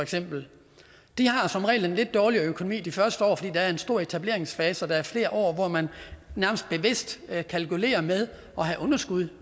har den som regel en lidt dårligere økonomi de første år fordi der er en stor etableringsfase og der er flere år hvor man nærmest bevidst kalkulerer med at have underskud